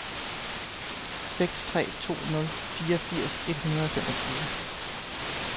seks tre to nul fireogfirs et hundrede og femogfyrre